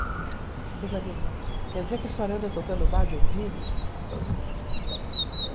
Quer dizer que a senhora anda tocando Bach de ouvido?